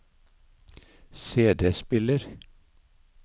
CD-spiller